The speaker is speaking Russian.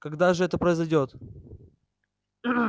когда же это произойдёт